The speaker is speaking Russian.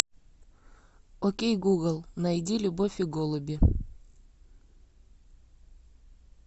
окей гугл найди любовь и голуби